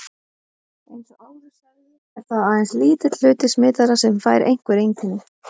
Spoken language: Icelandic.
Eins og áður sagði er það aðeins lítill hluti smitaðra sem fær einhver einkenni.